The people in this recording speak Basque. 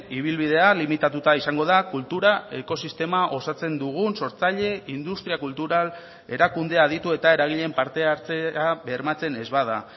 ibilbidea limitatuta izango da kultura ekosistema osatzen dugun sortzaile industria kultural erakunde aditu eta eragileen parte hartzea bermatzen ez bada